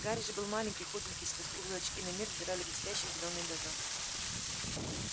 гарри же был маленький худенький сквозь круглые очки на мир взирали блестящие зелёные глаза